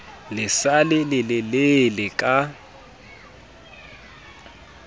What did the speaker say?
le sa le lelelele ka